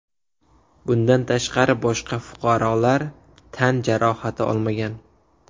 Bundan tashqari boshqa fuqarolar tan jarohati olmagan.